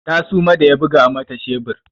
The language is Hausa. Ta suma da ya buga mata shebur.